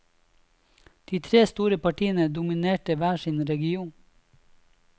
De tre store partiene dominerte hver sin region.